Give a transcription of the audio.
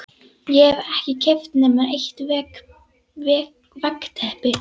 Ég hef ekki keypt nema eitt veggteppi